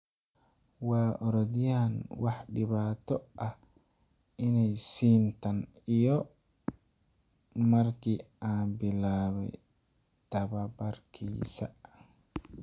Waa orodyahan wax dhibaato ah imay siin tan iyo markii aan bilaabay tababarkiisa.